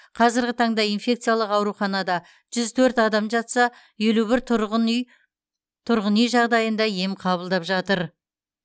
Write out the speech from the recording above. қазіргі таңда инфекциялық ауруханада жүз төрт адам жатса елу бір тұрғын үй жағдайында ем қабылдап жатыр